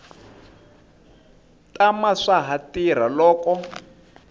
tama swa ha tirha loko